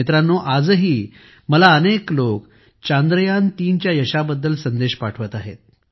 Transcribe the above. मित्रांनोआजही मला अनेक लोकं चांद्रयान 3 च्या यशाबद्दल संदेश पाठवत आहेत